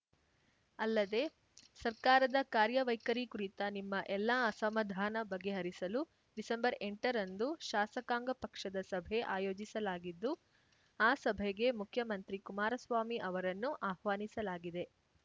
ಅಲ್ಲದೆ ಸರ್ಕಾರದ ಕಾರ್ಯವೈಖರಿ ಕುರಿತ ನಿಮ್ಮ ಎಲ್ಲಾ ಅಸಮಾಧಾನ ಬಗೆಹರಿಸಲು ಡಿಸೆಂಬರ್ಎಂಟರಂದು ಶಾಸಕಾಂಗ ಪಕ್ಷದ ಸಭೆ ಆಯೋಜಿಸಲಾಗಿದ್ದು ಆ ಸಭೆಗೆ ಮುಖ್ಯಮಂತ್ರಿ ಕುಮಾರಸ್ವಾಮಿ ಅವರನ್ನು ಆಹ್ವಾನಿಸಲಾಗಿದೆ